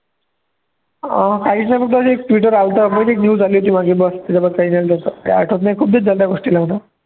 अं एक news आली होती माझी काही आठवतं नाही खूप दिवस झाले त्या गोष्टीला म्हणावं